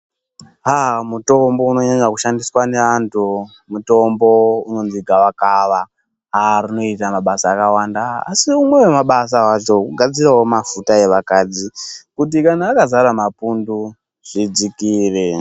Agh mutombo unonyanya kushandiswa ngeanthu mutombo unonzi gavakava agh rinoita mabasa akawanda, asi rimwe remabasa acho kugadzirawo mafuta evakadzi kuti akazara mapundu zvidzikire.